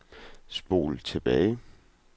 spol tilbage